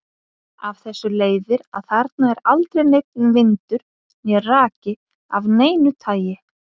Af þessu leiðir að þarna er aldrei neinn vindur né raki af neinu tagi.